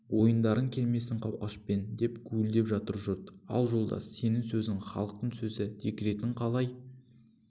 ойындарың келмесін қауқашпен деп гуілдеп жатыр жұрт ал жолдас сенің сөзің халықтың сөзі декретіне қалай